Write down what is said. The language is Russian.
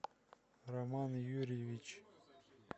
роман юрьевич